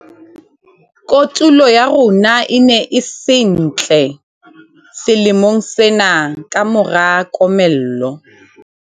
kotulo ya rona e ne e se ntle selemong sena ka mora komello